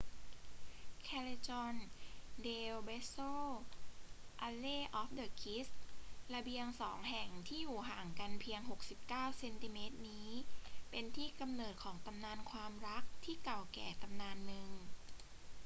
callejon del beso alley of the kiss ระเบียงสองแห่งที่อยู่ห่างกันเพียง 69 เซนติเมตรนี้เป็นที่กำเนิดของตำนานความรักที่เก่าแก่ตำนานหนึ่ง